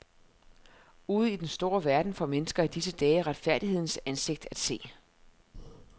Ude i den store verden får mennesker i disse dage retfærdighedens ansigt at se.